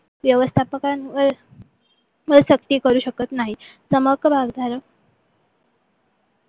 व्यवस्थापकांवर सक्ती करू शकत नाही. समहक्क भागधारक